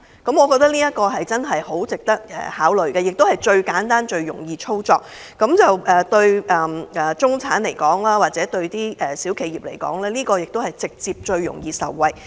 我認為這項建議很值得考慮，而且是最簡單和最容易操作的方法，對中產或小企業而言，也最容易直接受惠。